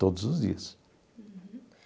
Todos os dias. Uhum.